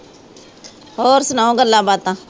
ਹੋਰ ਸੁਣਾਓ ਗੱਲਾਂ ਬਾਤਾਂ